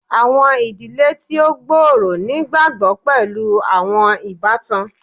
Awọn idile ti o gbooro nigbagbogbo pẹlu awọn ibatan